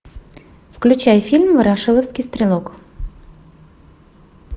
включай фильм ворошиловский стрелок